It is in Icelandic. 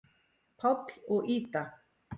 Páll og Ída.